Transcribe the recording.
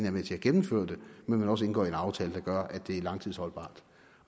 er med til at gennemføre det men også indgår en aftale der gør at det er langtidsholdbart